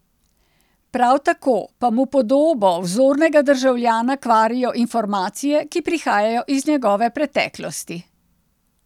Prav tako pa mu podobo vzornega državljana kvarijo informacije, ki prihajajo iz njegove preteklosti.